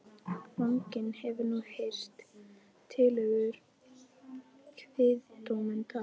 Fanginn hefur nú heyrt tillögur kviðdómenda.